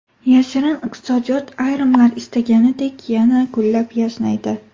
Yashirin iqtisodiyot ayrimlar istaganidek yana gullab-yashnaydi ”.